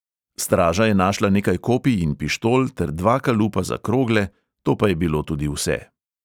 Straža je našla nekaj kopij in pištol ter dva kalupa za krogle, to pa je bilo tudi vse.